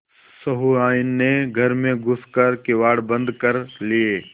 सहुआइन ने घर में घुस कर किवाड़ बंद कर लिये